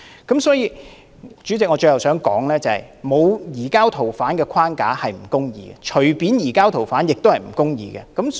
代理主席，我最後想說的是，沒有移交逃犯框架是不公義的，隨便移交逃犯亦是不公義。